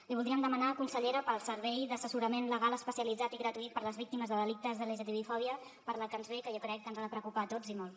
li voldríem demanar consellera pel servei d’assessorament legal especialitzat i gratuït per a les víctimes de delictes de lgtbi fòbia per la que ens ve que jo crec que ens ha de preocupar a tots i molt